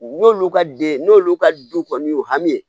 N'olu ka den n'olu ka du kɔni y'u hami ye